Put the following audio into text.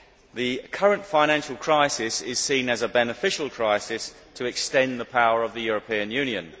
The current financial crisis is seen as a beneficial crisis to extend the power of the European Union.